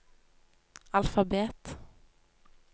alfabet